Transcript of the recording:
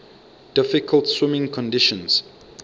difficult swimming conditions